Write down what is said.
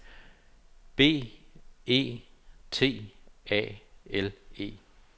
B E T A L E